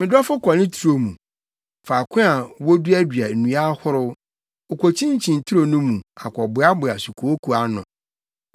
Me dɔfo kɔ ne turo mu, faako a woduadua nnua ahorow, okokyinkyin turo no mu akɔboaboa sukooko ano.